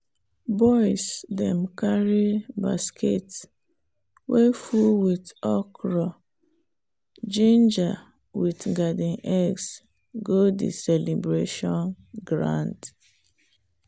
boys dem carry basket way full with okra ginger with garden eggs go the celebration ground.